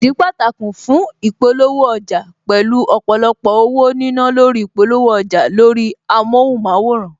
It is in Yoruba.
Ìdí pàtàkì fún ìpolówó ọjà, pẹ̀lú ọ̀pọ̀lọpọ̀ owó nínà lórí ìpolówó ọjà lórí amóhunmáwòrán